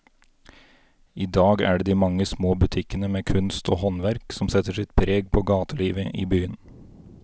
I dag er det de mange små butikkene med kunst og håndverk som setter sitt preg på gatelivet i byen.